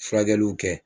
Furakɛliw kɛ